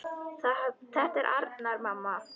Þetta er Arnar, mamma!